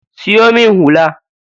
Siyo min hula.